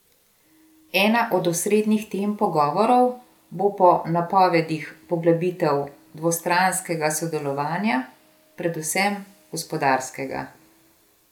Ena od osrednjih tem pogovorov bo po napovedih poglobitev dvostranskega sodelovanja, predvsem gospodarskega.